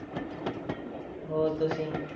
ਹੋਰ ਤੁਸੀਂ।